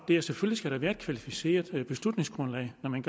der selvfølgelig være et kvalificeret beslutningsgrundlag når man